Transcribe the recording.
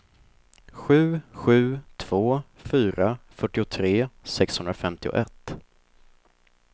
sju sju två fyra fyrtiotre sexhundrafemtioett